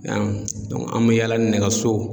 an bɛ yaala nɛgɛso